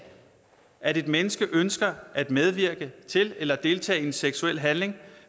at et menneske ønsker at medvirke til eller deltage i en seksuel handling